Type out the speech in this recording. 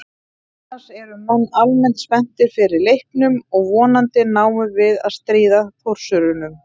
Annars eru menn almennt spenntir fyrir leiknum og vonandi náum við að stríða Þórsurunum.